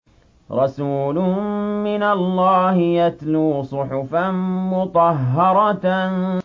رَسُولٌ مِّنَ اللَّهِ يَتْلُو صُحُفًا مُّطَهَّرَةً